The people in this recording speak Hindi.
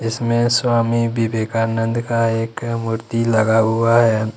उसमें स्वामी विवेकानंद का एक मूर्ति लगा हुआ है।